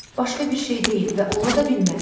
Başqa bir şey deyil və ola da bilməz.